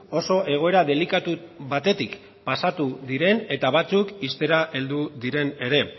oso egoera delikatu batetik pasatu diren eta batzuk ixtera heldu diren ere